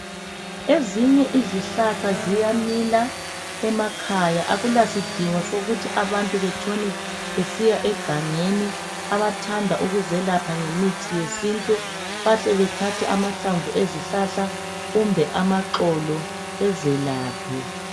Ezinye izihlahla ziyamila emakhaya, akulasidingo sokuthi abantu batshone besiya egangeni, abathanda ukuzelapha ngemithi yesintu bahle bathathe amahlamvu ezihlahla kumbe amaxolo bezelaphe.